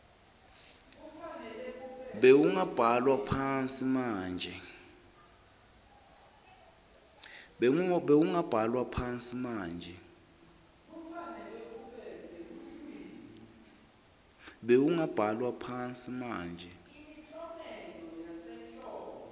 bewungabhalwa phansi manje